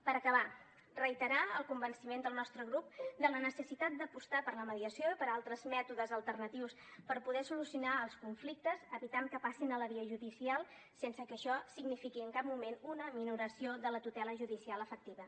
per acabar reiterar el convenciment del nostre grup de la necessitat d’apostar per la mediació i per altres mètodes alternatius per poder solucionar els conflictes i evitar que passin a la via judicial sense que això signifiqui en cap moment una minoració de la tutela judicial efectiva